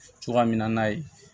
Cogoya min na n'a ye